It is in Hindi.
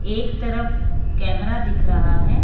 एक तरफ कैमरा दिख रहा है।